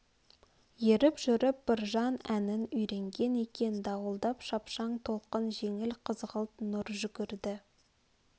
еріп жүріп біржан әнін үйренген екен дауылдап шапшаң толқын жеңіл қызғылт нұр жүгірді